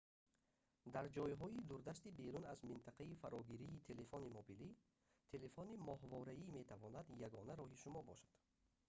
дар ҷойҳои дурдасти берун аз минтақаи фарогирии телефони мобилӣ телефони моҳвораӣ метавонад ягона роҳи шумо бошад